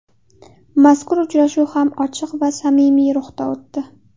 Mazkur uchrashuv ham ochiq va samimiy ruhda o‘tdi.